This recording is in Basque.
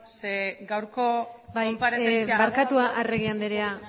zeren gaurko bai barkatu arregi andrea